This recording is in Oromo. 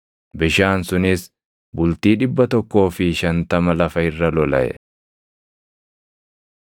Bishaan sunis bultii dhibba tokkoo fi shantama lafa irra lolaʼe.